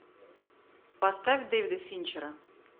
поставь дэвида финчера